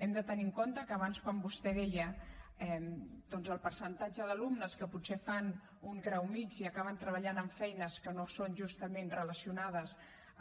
hem de tenir en compte que abans quan vostè deia doncs el percentatge d’alumnes que potser fan un grau mitjà i acaben treballant en feines que no són justament relacionades